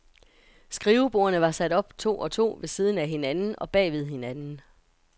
Skrivebordene var sat op to og to ved siden af hinanden og bagved hinanden.